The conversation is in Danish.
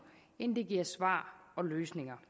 end det giver svar og løsninger